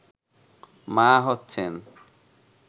মা হচ্ছেন